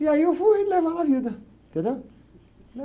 E aí eu fui levando a vida, entendeu?